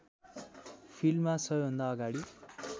फिल्डमा सबैभन्दा अगाडि